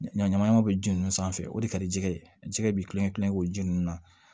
Ɲɔ ɲamanɲaman bɛ ji nun sanfɛ o de ka di jɛgɛ ye jɛgɛ bɛ tulonkɛ kulonkɛ k'o ji ninnu na